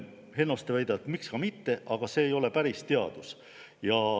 " Hennoste ütleb, et miks ka mitte, aga see ei ole päris teadus.